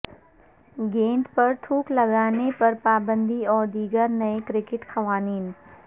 گیند پر تھوک لگانے پر پابندی اور دیگر نئے کرکٹ قوانین